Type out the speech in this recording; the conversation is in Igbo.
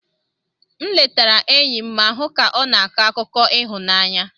M letara enyi m ma hụ ka ọ na-akọ akụkọ ịhụnanya.